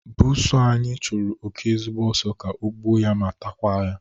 Buusu anyi chụrụ oke ezigbo ọsọ ka o gbuo ya ma takwa ya